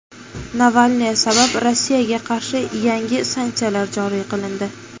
Navalniy sabab Rossiyaga qarshi yangi sanksiyalar joriy qilindi.